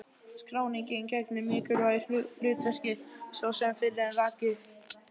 Skráningin gegnir mikilvægu hlutverki svo sem fyrr er rakið.